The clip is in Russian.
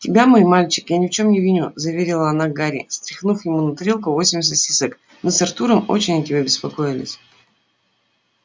тебя мой мальчик я ни в чём не виню заверила она гарри стряхнув ему на тарелку восемь сосисок мы с артуром очень о тебе беспокоились